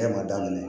E ma daminɛ